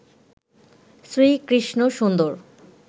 শ্রী কৃষ্ণ সুন্দর